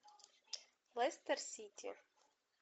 лестер сити